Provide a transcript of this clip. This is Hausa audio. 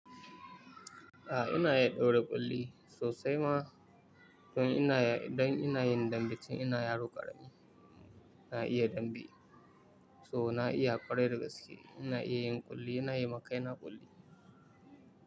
Ah inaya daura ƙolli sosai ma. To in ina ya, idan ina yin dambe tun ina yaro ƙarami. Na iya dambe, to na iya kwarai da gaske, ina iya yin ƙulli, ina yi ma kaina ƙulli.